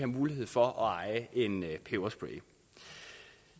mulighed for at eje en peberspray